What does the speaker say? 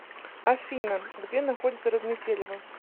афина где находится разметелево